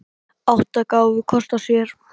Átta gáfu kost á sér.